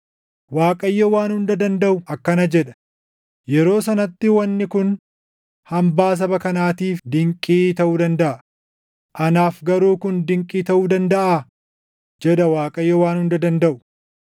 Waaqayyo Waan Hunda Dandaʼu akkana jedha: “Yeroo sanatti wanni kun hambaa saba kanaatiif dinqii taʼu dandaʼa; anaaf garuu kun dinqii taʼuu dandaʼaa?” jedha Waaqayyo Waan Hunda Dandaʼu.